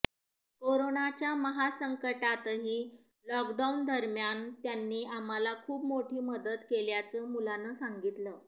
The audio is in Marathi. कोरोनाच्या महासंकाटतही लॉकडाऊनदरम्यान त्यांनी आम्हाला खूप मोठी मदत केल्याचं मुलानं सांगितलं